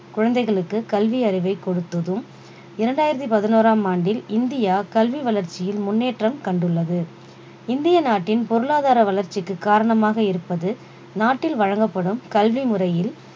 குழந்தைகளுக்கு கல்வியறிவைக் கொடுத்ததும் இரண்டாயிரத்தி பதினோறாம் ஆண்டில் இந்தியா கல்வி வளர்ச்சியில் முன்னேற்றம் கண்டுள்ளது இந்திய நாட்டின் பொருளாதார வளர்ச்சிக்கு காரணமாக இருப்பது நாட்டில் வழங்கப்படும் கல்வி முறையில்